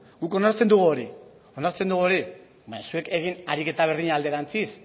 guk onartzen dugu hori onartzen dugu hori baina zuek egin ariketa berdina alderantziz